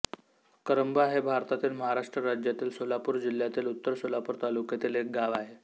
करंबा हे भारतातील महाराष्ट्र राज्यातील सोलापूर जिल्ह्यातील उत्तर सोलापूर तालुक्यातील एक गाव आहे